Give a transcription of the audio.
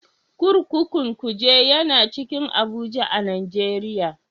Kurkukun Kuje tana cikin Abuja a Najeriya.